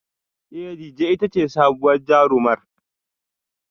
Ee Dejay ita ce sabuwar jarumar